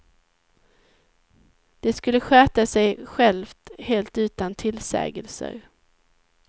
Det skulle sköta sig självt helt utan tillsägelser.